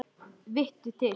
Vittu til!